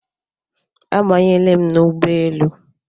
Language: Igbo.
Abanyela m n'ụgbọelu